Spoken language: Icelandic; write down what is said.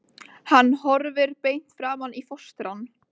Hann horfir beint framan í fóstrann.